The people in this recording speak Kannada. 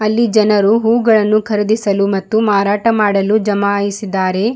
ಅಲ್ಲಿ ಜನರು ಹೂಗಳನ್ನು ಖರೀದಿಸಲು ಮತ್ತು ಮಾರಾಟ ಮಾಡಲು ಜಮಾಯಿಸಿದ್ದಾರೆ.